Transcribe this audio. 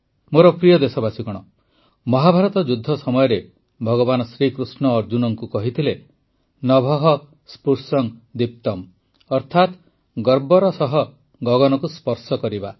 ମୋର ପ୍ରିୟ ଦେଶବାସୀଗଣ ମହାଭାରତ ଯୁଦ୍ଧ ସମୟରେ ଭଗବାନ ଶ୍ରୀକୃଷ୍ଣ ଅର୍ଜୁନଙ୍କୁ କହିଥିଲେ ନଭଃ ସ୍ପୃଶଂ ଦୀପ୍ତମ୍ ଅର୍ଥାତ ଗର୍ବର ସହ ଗଗନକୁ ସ୍ପର୍ଶ କରିବା